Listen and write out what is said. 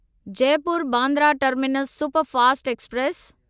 Jaipur Bandra terminus superfast express